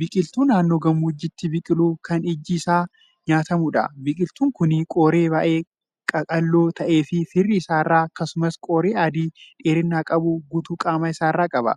Biqiltuu naannoo gammoojjiitti biqilu Kan ijji Isaa nyaatamuudha. biqiltuun Kuni qoree baay'ee qaqal'oo taate firii isaarraa, akkasumas qoree adii dheerina qabu guutuu qaama isaarraa qaba.